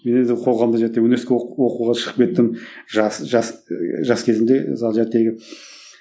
мен енді қоғамда университетте оқуға шығып кеттім жас жас ы жас кезімде мысалы